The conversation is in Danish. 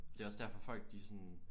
Det er også derfor folk de er sådan